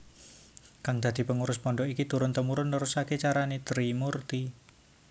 Kang dadi pengurus pondhok iki turun temurun nerusaké carané Trimurti